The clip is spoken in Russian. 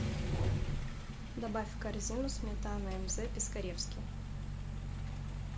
добавь в корзину сметана мз пискаревский